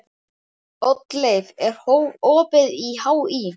Oddleif, er opið í HÍ?